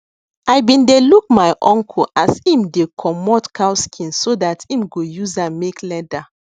i been dey look my uncle as em dey comot cow skin so dat em go use am make leather